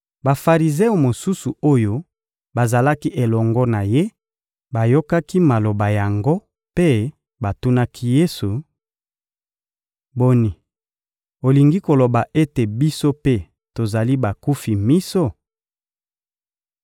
Bafarizeo mosusu oyo bazalaki elongo na ye bayokaki maloba yango mpe batunaki Yesu: — Boni, olingi koloba ete biso mpe tozali bakufi miso?